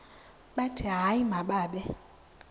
bathi hayi mababe